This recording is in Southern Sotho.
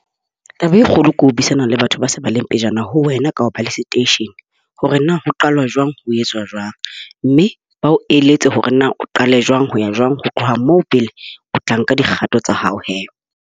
Taba e kgolo ke ho buisana le batho ba se ba leng pejana ho wena ka ho ba le station. Hore na ho qalwa jwang. Ho etswa jwang, mme ba o eletse hore na o qale jwang ho ya jwang. Ho tloha moo, pele o tla nka dikgato tsa hao he.